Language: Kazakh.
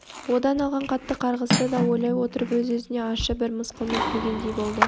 одан алған қатты қарғысты да ойлай отырып өз-өзіне ащы бір мысқылмен күлгендей болды